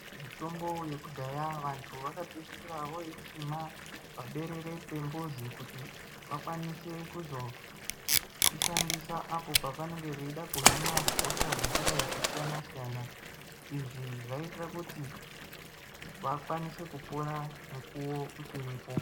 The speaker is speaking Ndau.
Mitombo yekudhaya vantu vakapeisira vooisima paberere pambuzi kuti vakwanise kuzoishandisa apo pavanenge veida kuhina hosha dzakadai kusiyana-siyana. Izvi zvaiitira kuti vakwanise kupora mukuwo uchiripo.